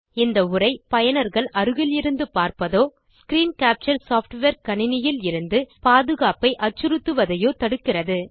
இந்த உரை பயனர்கள் அருகிலிருந்து பார்ப்பதோ ஸ்க்ரீன் கேப்சர் சாஃப்ட்வேர் கணினியில் இருந்து பாதுகாப்பை அச்சுறுத்துவதையோ தடுக்கிறது